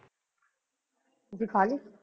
ਤੁਸੀਂ ਖਾਲੀ?